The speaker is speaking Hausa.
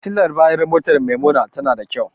Fitilar bayan motar Maimuna tana da kyau.